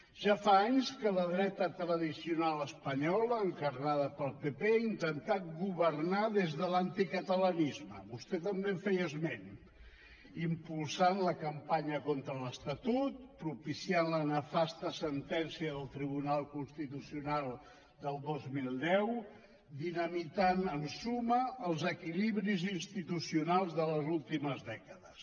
ja fa anys que la dreta tradicional espanyola encarnada pel pp ha intentat governar des de l’anticatalanisme vostè també en feia esment impulsant la campanya contra l’estatut propiciant la nefasta sentència del tribunal constitucional del dos mil deu dinamitant en suma els equilibris institucionals de les últimes dècades